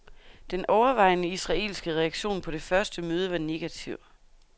Den overvejende israelske reaktion på det første møde var negativ.